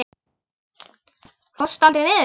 Fórstu aldrei niður?